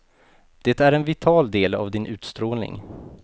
Det är en vital del av din utstrålning.